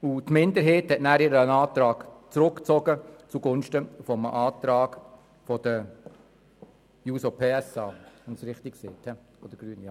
Die Minderheit hat anschliessend ihren Antrag zugunsten des Antrags der Grünen zurückgezogen.